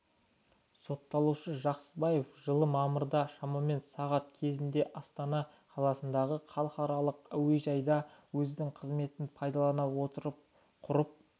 сотталушы жақсыбаев жылы мамырда шамамен сағат кезінде астана қаласындағы халықаралық әуежайда өзінің қызметін пайдалана отырып құрып